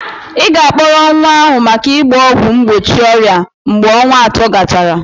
Ị ga-akpọrọ nwa ahụ maka ịgba ọgwụ mgbochi ọrịa mgbe ọnwa atọ gachara.